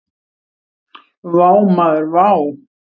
Vá maður vá!